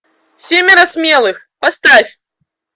семеро смелых поставь